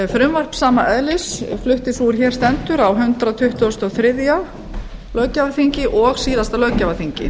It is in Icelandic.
frumvarp sama eðlis flutti sú er hér stendur á hundrað tuttugasta og þriðja löggjafarþingi síðasta löggjafarþingi